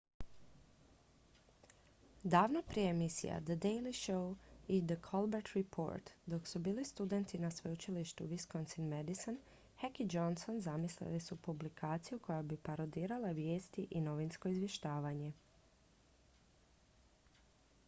davno prije emisija the daily show i the colbert report dok su bili studenti na sveučilištu wisconsin-madison uw heck i johnson zamislili su publikaciju koja bi parodirala vijesti i novinsko izvještavanje